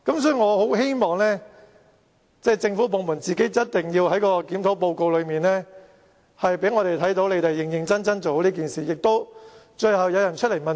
所以，政府部門必須在檢討報告內，讓我們看到你們在認真處理此事，而最後亦會有人要問責。